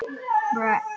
Af mörgu skal mat hafa.